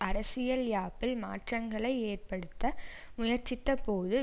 அரசியல் யாப்பில் மாற்றங்களை ஏற்படுத்த முயற்சித்த போது